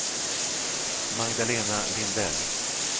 Magdalena Lindell